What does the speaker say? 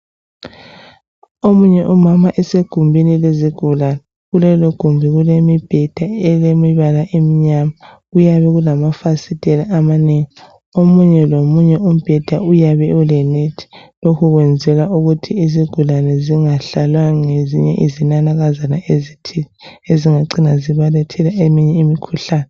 omunye umama esegumbini lezigulane kulelo gumbi kulemibheda elemibala emnyama kuyabe kulamafasiteli amanengi omunye lomunye umbheda uyabe ele nethi lokhu kwenzelwa ukuthi izigulane zingahlalwa ngezinye izinanakazana ezithile ezingacina zibalethela eminye imikuhlane